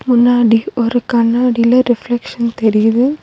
முன்னாடி ஒரு கண்ணாடில ரிஃப்லக்ஷன் தெரியிது.